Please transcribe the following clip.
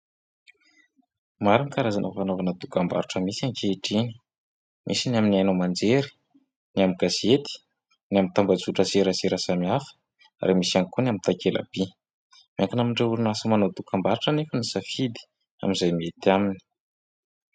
Maro ny karazana fanaovana dokam-barotra misy ankehitriny. Misy ny amin'ny haino aman-jery, ny amin'ny gazety, ny amin'ny tambazotra an-tserasera samihafa ary misy ihany koa ny amin'ny takelaby. Miankina amin'ireo orinasa manao dokam-barotra anefa ny safidy amin'izay mety aminy.